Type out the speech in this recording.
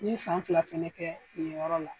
N ye san fila fana kɛ nin yɔrɔ la.